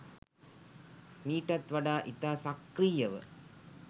මීටත් වඩා ඉතා සක්‍රීයව